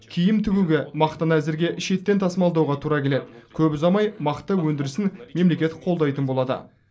киім тігуге мақтаны әзірге шеттен тасымалдауға тура келеді көп ұзамай мақта өндірісін мемлекет қолдайтын болады